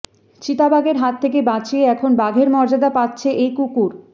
চিতাবাঘের হাত থেকে বাঁচিয়ে এখন বাঘের মর্যাদা পাচ্ছে এই কুকুর